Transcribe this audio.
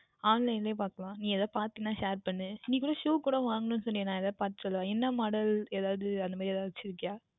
Online லையே பார்த்துக்கொள்ளலாம் நீ எதாவுது பார்தாய் என்றால் Share பண்ணு நீ கூட Shoe எல்லாம் வாங்கவேண்டும் என்று சொன்னாய் அல்லவா நான் வேண்டுமென்றால் பார்த்து சொல்லவா என்ன Model எதாவுது அந்த மாதிரி வைத்து இருக்கின்றையா